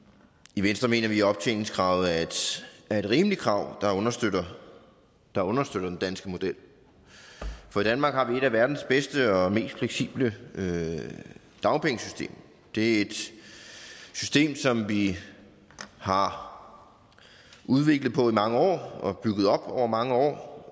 i venstre mener vi at optjeningskravet er et rimeligt krav der understøtter der understøtter den danske model for i danmark har vi et af verdens bedste og mest fleksible dagpengesystemer det er et system som vi har udviklet på i mange år og bygget op over mange år